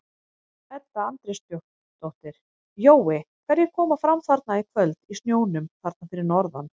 Edda Andrésdóttir: Jói hverjir koma fram þarna í kvöld í snjónum þarna fyrir norðan?